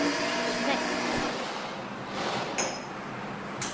knekt